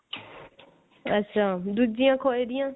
ਅੱਛਾ ਦੂਜਿਆ ਖੋਏ ਦੀਆਂ